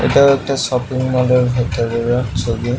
এটাও একটা shopping mall এর ভিতরেরা ছবি--